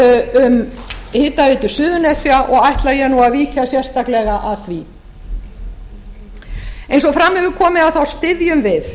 um hitaveitu suðurnesja og ætla ég nú að víkja sérstaklega að því eins og fram hefur komið styðjum við